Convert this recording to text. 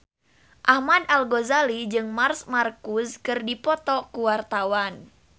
Ahmad Al-Ghazali jeung Marc Marquez keur dipoto ku wartawan